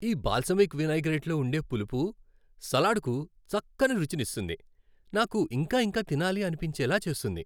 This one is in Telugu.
ఈ బాల్సమిక్ వినైగ్రేట్లో ఉండే పులుపు సలాడ్కు చక్కని రుచిని ఇస్తుంది, నాకు ఇంకా ఇంకా తినాలని అనిపించేలా చేస్తుంది.